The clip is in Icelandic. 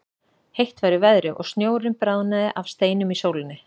Heitt var í veðri og snjórinn bráðnaði af steinum í sólinni.